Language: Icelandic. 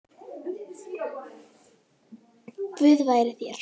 Guð veri þér.